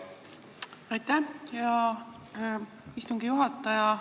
Aitäh, hea istungi juhataja!